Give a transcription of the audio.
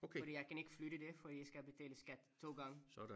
Fordi jeg kan ikke flytte det fordi jeg skal betale skat 2 gange